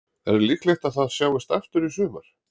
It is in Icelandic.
Er líklegt að það sjáist aftur í sumar?